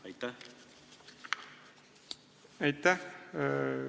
Aitäh!